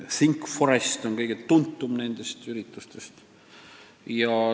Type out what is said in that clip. ThinkForest on nendest kõige tuntum.